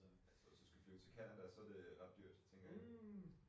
Altså hvis du skal flyve til Canada så det ret dyrt tænker jeg